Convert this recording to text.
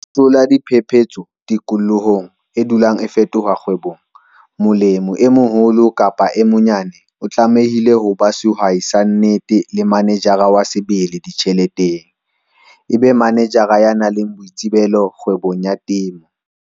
Ho hlola diphephetso tikolohong e dulang e fetoha kgwebong, molemi e moholo kapa e monyane o tlamehile ho ba sehwai sa nnete le manejara wa sebele ditjheleteng - e be manejara ya nang le boitsebelo kgwebong ya temo.